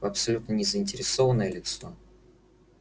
абсолютно не заинтересованное лицо